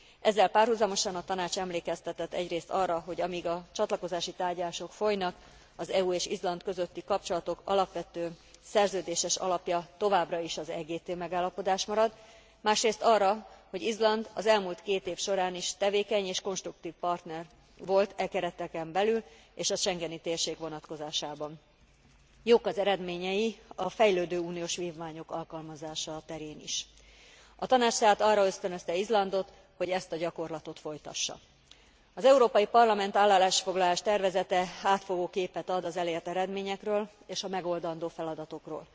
Ezzel párhuzamosan a Tanács emlékeztetett egyrészt arra, hogy amíg a csatlakozási tárgyalások folynak, az EU és Izland közötti kapcsolatok alapvető, szerződéses alapja továbbra is az EGT megállapodás marad, másrészt arra, hogy Izland az elmúlt két év során is tevékeny és konstruktív partner volt e kereteken belül és a schengeni térség vonatkozásában. Jók az eredményei a fejlődő uniós vívmányok alkalmazása terén is. A Tanács tehát arra ösztönözte Izlandot, hogy ezt a gyakorlatot folytassa. Az Európai Parlament állásfoglalás tervezete átfogó képet ad az elért eredményekről és a megoldandó feladatokról.